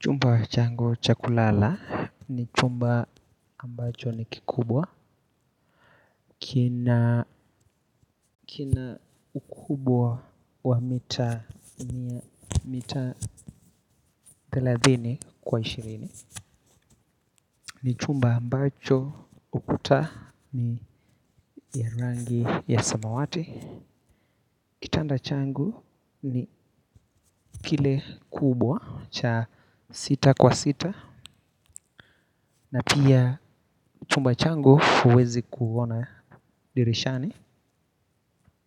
Chumba changu cha kulala ni chumba ambacho ni kikubwa. Kina ukubwa wa mita ni mita thelathini kwa ishirini ni chumba ambacho ukuta ni ya rangi ya samawati. Kitanda changu ni kile kubwa cha sita kwa sita na pia chumba changu huwezi kuona dirishani.